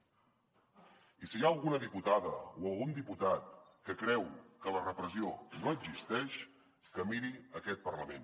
i si hi ha alguna diputada o algun diputat que creu que la repressió no existeix que miri aquest parlament